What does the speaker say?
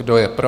Kdo je pro?